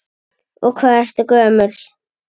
Og hvað ertu gömul?